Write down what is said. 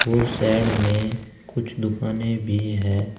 उस साइड में कुछ दुकानें भी है।